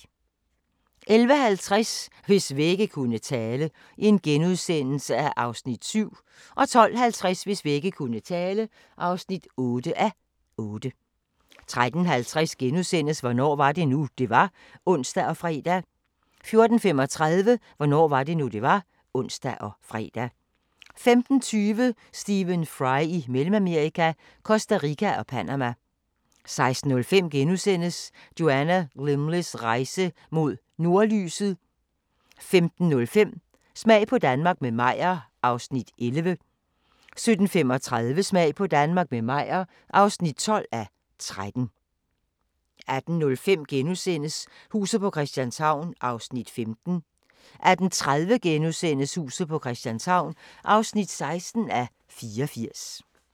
11:50: Hvis vægge kunne tale (7:8)* 12:50: Hvis vægge kunne tale (8:8) 13:50: Hvornår var det nu, det var? *(ons og fre) 14:35: Hvornår var det nu, det var? (ons og fre) 15:20: Stephen Fry i Mellemamerika – Costa Rica og Panama 16:05: Joanna Lumleys rejse mod nordlyset * 17:05: Smag på Danmark – med Meyer (11:13) 17:35: Smag på Danmark – med Meyer (12:13) 18:05: Huset på Christianshavn (15:84)* 18:30: Huset på Christianshavn (16:84)*